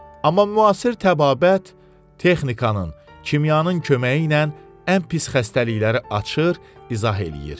Amma müasir təbabət texnikanın, kimyanın köməyi ilə ən pis xəstəlikləri açır, izah eləyir.